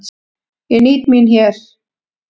Ég nýt mín hér.